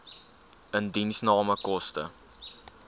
indiensname koste